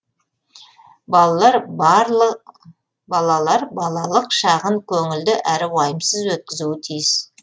балалар балалық шағын көңілді әрі уайымсыз өткізуі тиіс